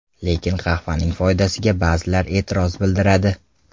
Lekin qahvaning foydasiga ba’zilar e’tiroz bildiradi.